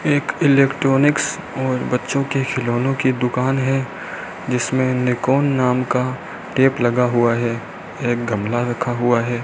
एक इलेक्ट्रॉनिक्स और बच्चों के खिलौनो की दुकान है जिसमें निकोंन नाम का टेप लगा हुआ है एक गमला रखा हुआ है।